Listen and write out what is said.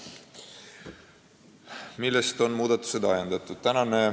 Millest on muudatused ajendatud?